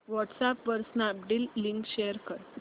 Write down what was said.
WhatsApp वर Snapdeal link share कर